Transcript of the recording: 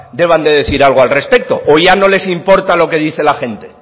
deban de decir algo al respecto o ya no les importa lo que dice la gente